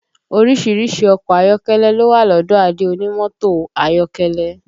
Orísìírísìí ọkọ̀ ayọ́kẹ́lẹ́ ló wà lọ́dọ̀ Adé onímọ́tò ayọ́kẹ́lẹ́